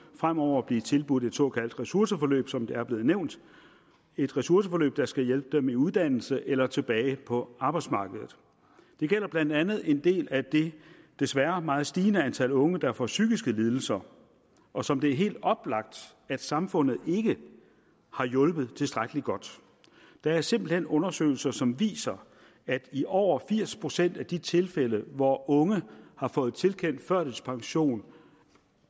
fremover blive tilbudt et såkaldt ressourceforløb som det er blevet nævnt et ressourceforløb der skal hjælpe dem i uddannelse eller tilbage på arbejdsmarkedet det gælder blandt andet en del af det desværre meget stigende antal unge der får psykiske lidelser og som det er helt oplagt at samfundet ikke har hjulpet tilstrækkelig godt der er simpelt hen undersøgelser som viser at i over firs procent af de tilfælde hvor unge har fået tilkendt førtidspension